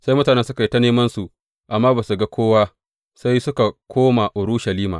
Sai mutanen suka yi ta nemansu amma ba su ga kowa, sai suka koma Urushalima.